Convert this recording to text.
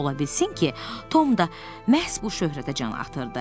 Ola bilsin ki, Tom da məhz bu şöhrətə can atırdı.